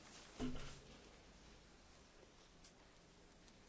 Discriminarea și expulzările colective sunt interzise.